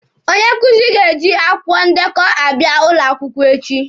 Onye nkuzi ga-eji akwụkwọ ndekọ abịa ụlọ akwụkwọ echi.